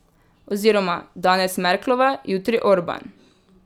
Oziroma, danes Merklova, jutri Orban.